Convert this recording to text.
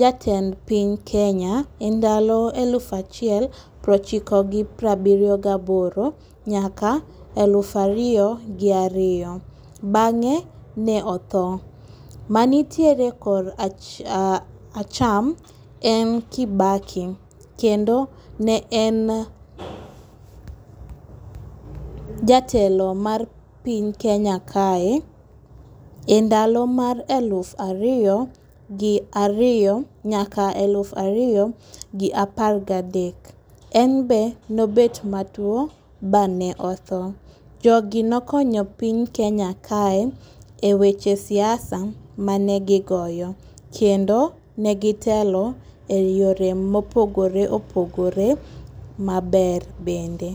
jatend piny kenya e ndalo elufa chiel prochiko gi prabiryo gaboro nyaka e lufa riyo gi ariyo bang'e ne otho. Manitiere kora koracham en Kibaki , kendo ne en jatelo mar piny kenya kae e ndalo mar aluf ariyo gi ariyo nyaka eluf ariyo gi apar gadek. En be nobet matuo ba ne otho. Jogi nokonyo piny Kenya kae e weche siasa mane gigoyo kendo ne gitelo e yore mopogore opogore maber bende.